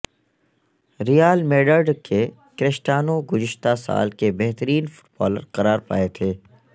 ریال Madrid کے Cristiano گذشتہ سال کے بہترین فٹبالر قرار پائے تھے